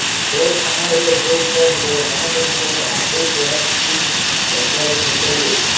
cell ସମୟରେ ଉପଭୋକ୍ତା ନିଜର ମନ ପସନ୍ଦର ଆପଲ ପ୍ରଡ଼କ୍ଟକୁ ଶସ୍ତାରେ କିଣିପାରିବେ